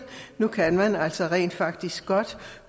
nu kan man altså rent faktisk godt